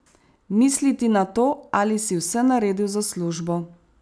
Misliti na to, ali si vse naredil za službo?